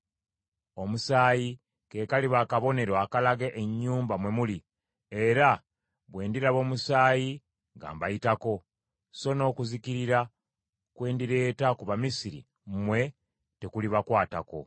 Omusaayi ke kaliba akabonero akalaga ennyumba mwe muli; era bwe ndiraba omusaayi, nga mbayitako; so n’okuzikirira kwe ndireeta ku Bamisiri mmwe tekulibakwatako.